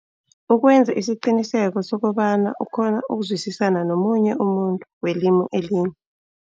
Ukwenza isiqiniseko sokobana ukghona ukuzwisisa nomunye umuntu welimu elinye.